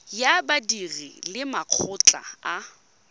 ya badiri le makgotla a